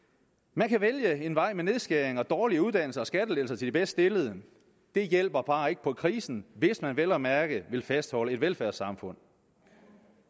man kan vælge en vej med nedskæringer dårlige uddannelser og skattelettelser til de bedst stillede det hjælper bare ikke på krisen hvis man vel at mærke vil fastholde et velfærdssamfund